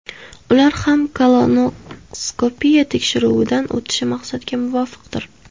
Ular ham kolonoskopiya tekshiruvidan o‘tishi maqsadga muvofiqdir.